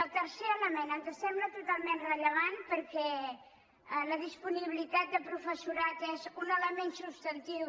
el tercer element ens sembla totalment rellevant per·què la disponibilitat de professorat és un element subs·tantiu